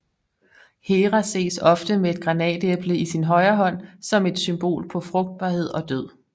Hera ses ofte med et granatæble i sin højre hånd som et symbol på frugtbarhed og død